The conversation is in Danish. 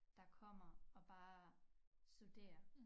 Der kommer og bare studerer